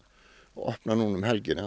opna núna um helgina